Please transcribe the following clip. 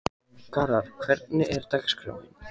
Garðar, hvernig er dagskráin?